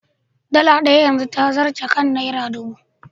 Dala ɗaya yanzu ta zarce kan Naira ɗubu.